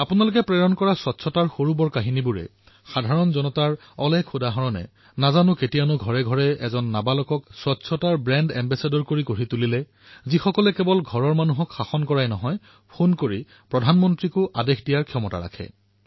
আপোনালোকে প্ৰেৰণ কৰা স্বচ্ছতাৰ কাহিনীসমূহে জনসাধাৰণৰ উদাহৰণসমূহে ঘৰসমূহত এক স্বচ্ছতাৰ এক ব্ৰেণ্ড এম্বেচাদৰ প্ৰস্তুত কৰিছে যিয়ে পৰিয়ালৰ মানুহকো বাধা দিয়ে আৰু কেতিয়াবা ফোন কলেৰে প্ৰধানমন্ত্ৰীকো আদেশ দিয়ে